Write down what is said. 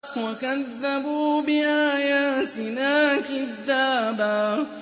وَكَذَّبُوا بِآيَاتِنَا كِذَّابًا